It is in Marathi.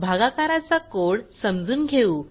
भागाकाराचा कोड समजून घेऊ